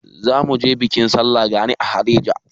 Za mu je bikin sallar gani a Haɗeja.